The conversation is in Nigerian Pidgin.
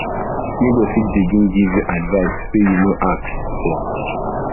neighbour fit begin give you advise wey you no ask no ask for